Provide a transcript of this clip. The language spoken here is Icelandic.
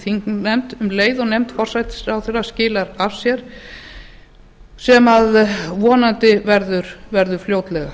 þingnefnd um leið og nefnd forsætisráðherra skilar af sér sem vonandi verður fljótlega